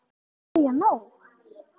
Um miðja nótt?